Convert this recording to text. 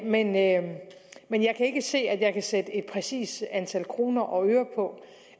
men jeg men jeg kan ikke se at jeg kan sætte et præcist antal kroner og øre på